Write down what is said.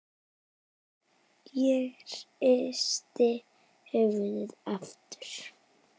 Ég hristi höfuðið aftur.